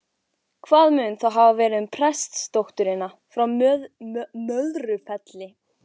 Hvað mun þá hafa verið um prestsdótturina frá Möðrufelli?